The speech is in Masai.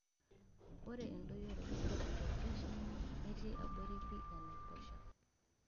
Ore endoyioroto sapuk e presha netii abori pii enaiposha.